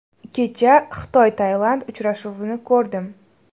Kecha XitoyTailand uchrashuvini ko‘rdim.